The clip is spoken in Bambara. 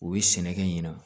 U bɛ sɛnɛkɛ ɲina